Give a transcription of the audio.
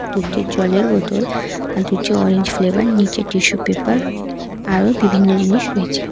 দুটি জলের বোতল আর দুটি অরেঞ্জ ফ্লেভার নীচে টিস্যু পেপার আরো বিভিন্ন জিনিস রয়েছে।